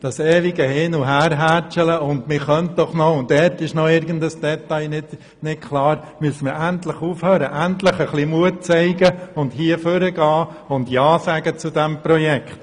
Das endlose Hin-und-Her, das Man-könnte und Dort-ist-noch-ein-Detailunklar – damit müssen wir endlich aufhören, indem wir ja sagen zu diesem Projekt.